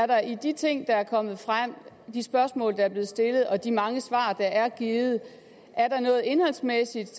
der i de ting der er kommet frem i de spørgsmål der er blevet stillet og i de mange svar der er blevet givet er noget indholdsmæssigt